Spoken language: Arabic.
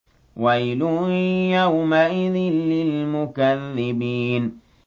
وَيْلٌ يَوْمَئِذٍ لِّلْمُكَذِّبِينَ